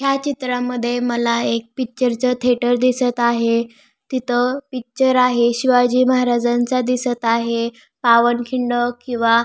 या चित्रामध्ये मला एक पिक्चर च थियटर दिसत आहे तिथ पिक्चर आहे शिवाजी महाराजांचा दिसत आहे पावनखिंड किंवा--